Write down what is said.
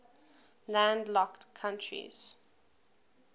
landlocked countries